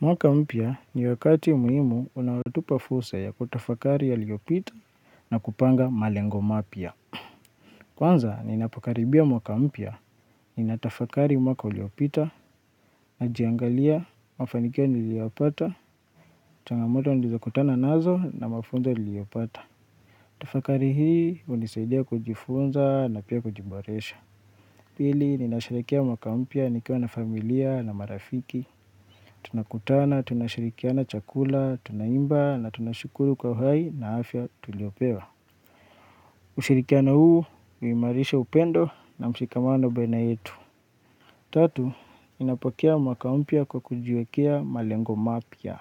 Mwaka mpya ni wakati muhimu unaotupa fursa ya kutafakari yaliopita na kupanga malengo mapya. Kwanza ninapo karibia mwaka mpya, ninatafakari mwaka uliopita, najiangalia, mafanikio niliyoyapata, changamoto nilizo kutana nazo na mafunzo niliyopata. Tafakari hii unisaidia kujifunza na pia kujiboresha. Pili, ninasherekea mwaka mpya nikiwa na familia na marafiki. Tunakutana, tunashirikiana chakula, tunaimba na tunashukuru kwa uhai na afya tuliopewa. Ushirikiano huu uimarisha upendo na mshikamano baina yetu. Tatu, ninapokea mwaka mpya kwa kujiwekea malengo mapya.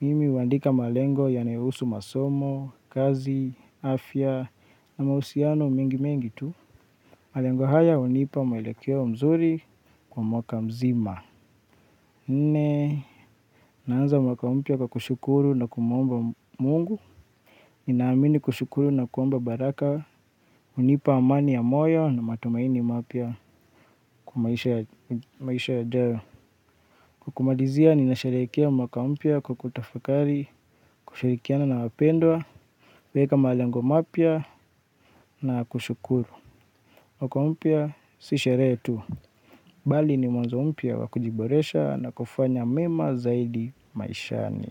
Mimi uandika malengo yanayousu masomo, kazi, afya na mausiano mengi mengi tu. Malengo haya unipa mwelekeo mzuri kwa mwaka mzima. Nne, naanza mwaka mpya kwa kushukuru na kumuomba mungu. Ninaamini kushukuru na kuomba baraka unipa amani ya moyo na matumaini mapya kwa maisha yajayo. Kumalizia ninasherekea mwaka mpya kwa kutafakari, kushirikiana na wapendwa kueka malengo mapya na kushukuru mwaka mpya, si sherehe tu. Bali ni mwazo mpya wa kujiboresha na kufanya mema zaidi maishani.